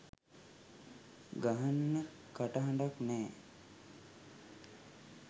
ගහන්න කටහඬක් නෑ